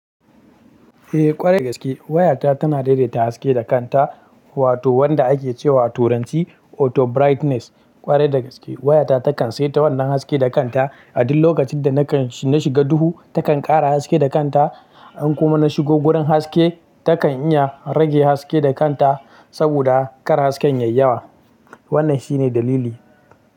Eh ƙwarai da gaske wayata tana daidaita haske da kanta, wato wanda ake cewa a turanci auto brightness. Ƙwarai da gaske wayata takan sai ta wannan haske da kanta. A duk lokacin da nakan shiga duhu takan ƙara haske da kanta. In kuma na shigo gurin haske takan iya rage haske da kanta saboda kar hasken yayi yawa. Wannan shi ne dalili.